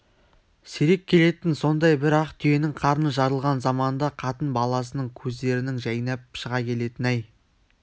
сирек келетін сондай бір ақ түйенің қарны жарылған заманда қатын-баласының көздерінің жайнап шыға келетіні-ай